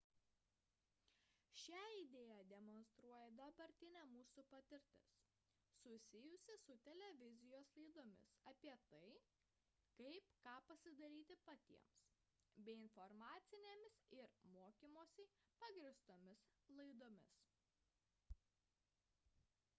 šią idėją demonstruoja dabartinė mūsų patirtis susijusi su televizijos laidomis apie tai kaip ką pasidaryti patiems bei informacinėmis ir mokymusi pagrįstomis laidomis